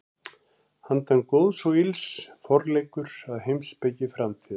Handan góðs og ills: Forleikur að heimspeki framtíðar.